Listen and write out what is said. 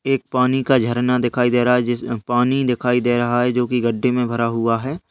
एक पानी का झरना दिखाई दे रहा है जिसमें पानी दिखाई दे रहा है जो कि गढ्ढे में भरा हुआ है।